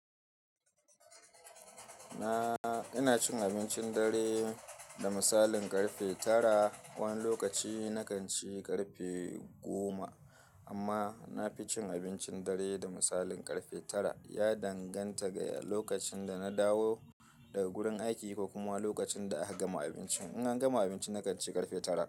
Na ina cin abincin dare da misalin karfe tara. Wani lokaci na kan ci karfe goma amma na fi cin abincin dare da misalin karfe tara. Ya danganta ga lokacin da na dawo daga gurin aiki ko kuma lokacin da aka gama abinci. In an gama abinci, na kan ci karfe tara.